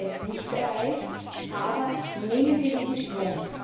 Das haben wir jetzt nicht erreicht, aber nehmen wir diesen Schwung.